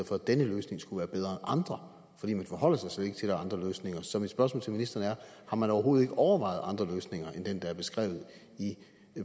for at denne løsning skulle være bedre andre for man forholder sig slet ikke til andre løsninger så mit spørgsmål til ministeren er har man overhovedet ikke overvejet andre løsninger end den der er beskrevet i